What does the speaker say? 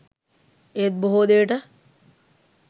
ඒත් බොහෝ දේට